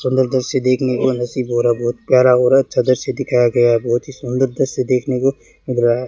सुन्दर दृश्य देखने को नसीब हो रहा बोहोत प्यारा हो रहा है अच्छा दृश्य दिखाया गया है बोहोत ही सुंदर दृश्य देखने को मिल रहा है।